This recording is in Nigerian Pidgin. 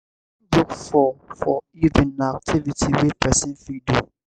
reading book for for evening na activity wey person fit do